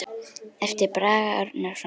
eftir Braga Árnason